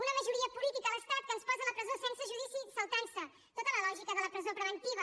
una majoria política a l’estat que ens posa a la presó sense judici i se salta tota la lògica de la presó preventiva